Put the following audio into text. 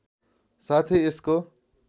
साथै यसको